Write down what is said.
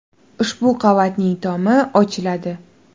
Ushbu qavatning tomi ochiladi.